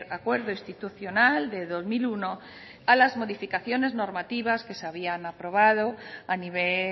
acuerdo institucional de dos mil uno a las modificaciones normativas que se habían aprobado a nivel